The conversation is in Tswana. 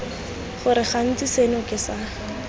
gore gantsi seno ke sa